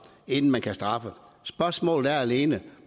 inden man kan straffe spørgsmålet er alene